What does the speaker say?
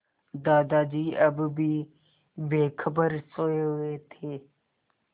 दादाजी अब भी बेखबर सोये हुए थे